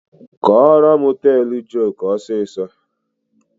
Kọrọ m teelụ joku fast!